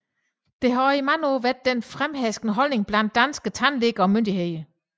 Dette har også i mange år været den fremherskende holdning blandt danske tandlæger og myndigheder